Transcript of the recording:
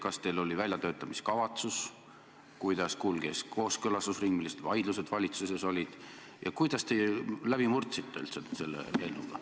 Kas teil oli väljatöötamiskavatsus, kuidas kulges kooskõlastusring, millised vaidlused valitsuses olid ja kuidas te üldiselt läbi murdsite selle eelnõuga?